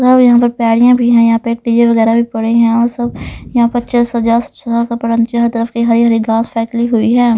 और यहां पर पैड़ियां भी है यहां पर पेड़ वगैरह भी पड़े हैं और सब यहां पर सजा कपड़ हर तरफ की हरी हरी गास फैकली हुई है.